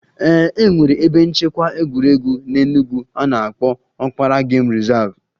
Ee e nwere ebe nchekwa egwuregwu n'Enugwu a na-akpọ Okpara game reserve